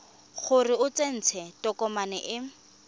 gore o tsentse tokomane e